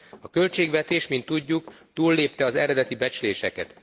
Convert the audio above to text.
A költségvetés, mint tudjuk, túllépte az eredeti becsléseket.